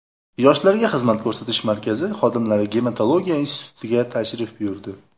Yoshlarga xizmat ko‘rsatish markazi xodimlari gematologiya institutiga tashrif buyurdi .